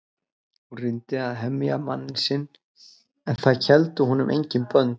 Hún reyndi að hemja manninn sinn en það héldu honum engin bönd.